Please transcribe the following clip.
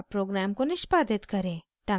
अब program को निष्पादित करें